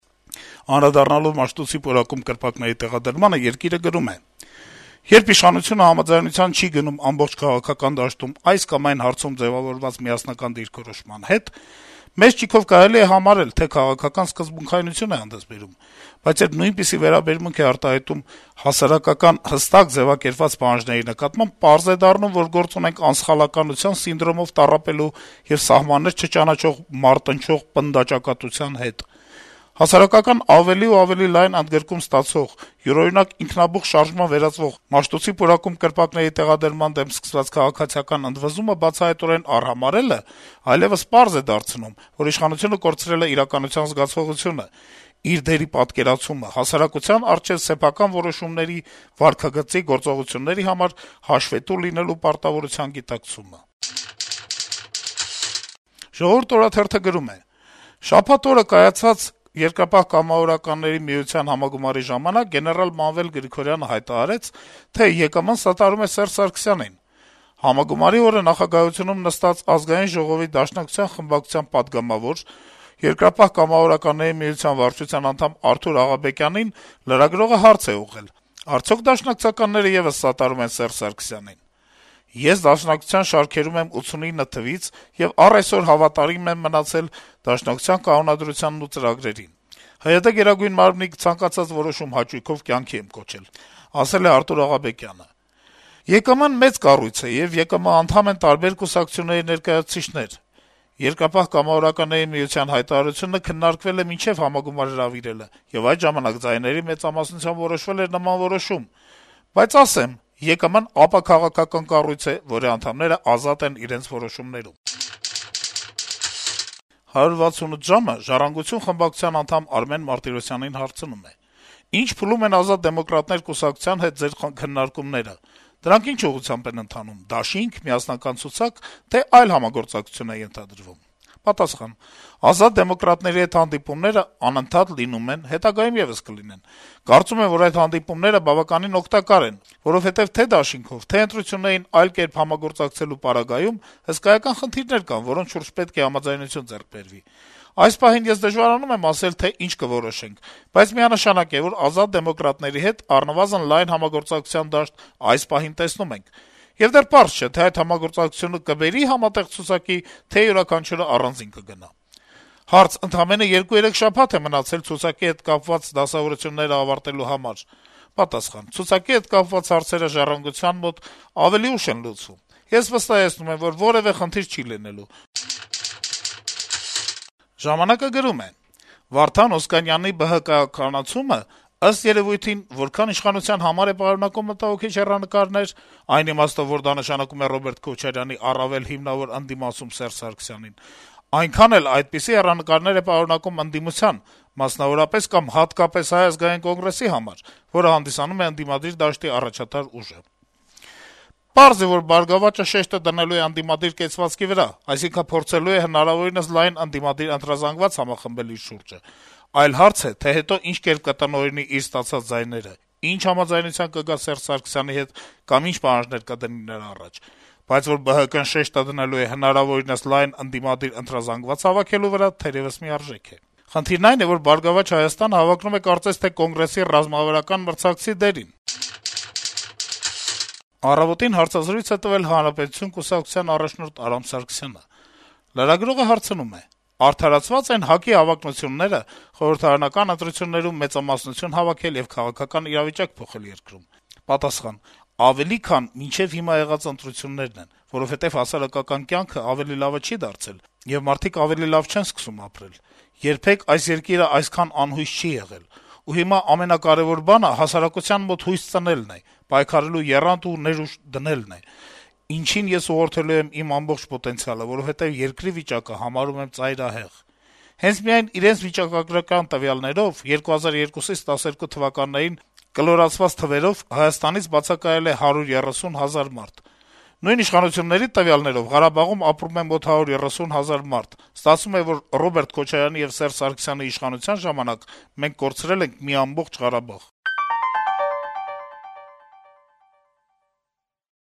Անդրադառնալով Մաշտոցի պուրակում կրպակների տեղադրմանը` «Երկիր»-ը գրում է. - «Երբ իշխանությունը համաձայնության չի գնում ամբողջ քաղաքական դաշտում այս կամ այն հարցում ձեւավորված միասնական դիրքրոշման հարցում, մեծ ճիգով կարելի է համարել, թե քաղաքական սկզբունքայնություն է հանդես բերում: Բայց երբ նույնպիսի վերաբերմունք է արտահայտվում հասարակական` հստակ ձեւակերպված պահանջների նկատմամբ, պարզ է դառնում, որ գործ ունենք անսխալականության սինդրոմով տառապելու եւ սահմաններ չճանաչող մարտնչող պնդաճակատության հետ: Հասարակական ավելի ու ավելի լայն ընդգրկում ստացող, յուրօրինակ ինքնաբուխ շարժման վերածվող` Մաշտոցի պուրակում կրպակների տեղադրման դեմ սկսված քաղաքացիական ընդվզումը բացահայտորեն արհամարհելն այլեւս պարզ է դարձնում, որ իշխանությունը կորցրել է իրականության զգացողությունը, իր դերի պատկերացումը, հասարակության առջեւ սեփական որոշումների, վարքագծի, գործողությունների համար հաշվետու լինելու պարտավորության գիտակցումը»: «Ժողովուրդ» օրաթերթը գրում է. - «Շաբաթ օրը կայացած ԵԿՄ համագումարի ժամանակ գեներալ Մանվել Գրիգորյանը հայտարարեց, թե ԵԿՄ-ն սատարում է Սերժ Սարգսյանին»: Համագումարի օրը նախագահություն նստած ԱԺ Դաշնակցություն խմբակցության պատգամավոր, Երկրապահ կամավորականների միության վարչության անդամ Արթուր Աղաբեկյանին լրագրողը հարց է ուղղել. - «Արդյո՞ք դաշնակցականները եւս սատարում են Սերժ Սարգսյանին»: «Ես Դաշնակցության շարքերում եմ 89 թվից եւ առ այսօր հավատարիմ եմ մնացել Դաշնակցության կանոնադրությանն ու ծրագրերին: ՀՅԴ Գերագույն մարմնի ցանկացած որոշում հաճույքով կյանքի եմ կոչել», - ասել է Արթուր Աղաբեկյանը: - «ԵԿՄ-ն մեծ կառույց է, եւ ԵԿՄ անդամ են տարբեր կուսակցությունների ներկայացուցիչներ: Երկրապահ կամավորականների միության հայտարարությունը քննարկվել է մինչեւ համագումար հրավիրելը, եւ այդ ժամանակ ձայների մեծամասնությամբ որոշվել էր նման որոշում: Բայց ասեմ` ԵԿՄ-ն ապաքաղաքական կառույց է, որի անդամները ազատ են իրենց որոշումներում»: «168 ժամ»-ը «Ժառանգություն» խմբակցության անդամ Արմեն Մարտիրոսյանին հարցնում է. -«Ի՞նչ փուլում են «Ազատ դեմոկրատներ» կուսակցության հետ Ձեր քննարկումները: Եվ դրանք ի՞նչ ուղղությամբ են ընթանում` դաշի՞նք, միասնական ցուցա՞կ, թե՞ այլ համագործակցություն է ենթադրվում»: Պատասխան. - ««Ազատ դեմոկրատների» հետ հանդիպումներ անընդհատ լինում են, հետագայում եւս կլինեն: Կարծում եմ, որ այդ հանդիպումները բավականին օգտակար են, որովհետեւ թե դաշինքով, թե ընտրություններին այլ կերպ համագործակցելու պարագայում հսկայական խնդիրներ կան, որոնց շուրջ պետք է համաձայնություն ձեռք բերվի: Այս պահին ես դժվարանում եմ ասել, թե ինչ կորոշենք, բայց միանշանակ է, որ «Ազատ դեմոկրատների» հետ առնվազն լայն համագործակցության դաշտ այս պահին տեսնում ենք: Եվ դեռ պարզ չէ, թե այդ համագործակցությունը կբերի՞ համատեղ ցուցակի, թե՞ յուրաքանչյուրն առանձին կգնա»: Հարց. - «Ընդամենը 2-3 շաբաթ է մնացել ցուցակի հետ կապված դասավորություններն ավարտելու համար»: Պատասխան. - «Ցուցակի հետ կապված հարցերը «Ժառանգության» մոտ ավելի ուշ են լուծվում: Ես վստահեցնում եմ, որ որեւէ խնդիր չի լինելու»: «Ժամանակ»-ը գրում է. - «Վարդան Օսկանյանի ԲՀԿ-ականացումը ըստ երեւույթին որքան իշխանության համար է պարունակում մտահոգիչ հեռանկարներ, այն իմաստով, որ դա նշանակում է Ռոբերտ Քոչարյանի առավել հիմնավոր ընդդիմացում Սերժ Սարգսյանին, այնքան էլ այդպիսի հեռանկարներ է պարունակում ընդդիմության, մասնավորապես կամ հատկապես Հայ ազգային կոնգրեսի համար, որը հանդիսանում է ընդդիմադիր դաշտի առաջատար ուժը: Պարզ է, որ «Բարգավաճ»-ը շեշտը դնելու է ընդդիմադիր կեցվածքի վրա, այսինքն փորձելու է հնարավորինս լայն ընդդիմադիր ընտրազանգված համախմբել իր շուրջը: Այլ հարց է, թե հետո ինչ կերպ կտնօրինի իր ստացած ձայները, ինչ համաձայնության կգա Սերժ Սարգսյանի հետ կամ ինչ պահանջներ կդնի նրա առաջ: Բայց որ ԲՀԿ-ն շեշտը դնելու է հնարավորինս լայն ընդդիմադիր ընտրազամգված հավաքելու վրա՝ թերեւս միարժեք է: Խնդիրն այն է, որ «Բարգավաճ Հայաստան»-ը հավակնում է կարծես թե Կոնգրեսի ռազմավարական մրցակցի դերին»: «Առավոտ»-ին հարցազրույց է տվել «Հանրապետություն» կուսակցության առաջնորդ Արամ Սարգսյանը: Լրագրողը հարցնում է. - «Արդարացվա՞ծ են ՀԱԿ-ի հավակնությունները՝ խորհրդարանական ընտրություններում մեծամասնություն հավաքել եւ քաղաքական իրավիճակ փոխել երկրում»: Պատասխան. - «Ավելի, քան մինչեւ հիմա եղած ընտրություններն են, որովհետեւ հասարակական կյանքն ավելի լավը չի դարձել, եւ մարդիկ ավելի լավ չեն սկսում ապրել: Երբեք այս երկիրը այսքան անհույս չի եղել: Ու հիմա ամենակարեւոր բանը հասարակության մոտ հույս ծնելն է, պայքարելու եռանդ ու ներուժ դնելն է, ինչին ես ուղղորդելու եմ իմ ամբողջ պոտենցիալը, որովհետեւ երկրի վիճակը համարում եմ ծայրահեղ: Հենց միայն իրենց վիճակագրական վարչության տվյալներով՝ 2002-2012 թվականներին, կլորացված թվերով, Հայաստանից բացակայել է 130 հազար մարդ: Նույն իշխանությունների տվյալներով՝ Ղարաբաղում ապրում է մոտ 130 հազար մարդ: Ստացվում է, որ Ռոբերտ Քոչարյանի եւ Սերժ Սարգսյանի իշխանության ժամանակ մենք կորցրել ենք մի ամբողջ Ղարաբաղ»: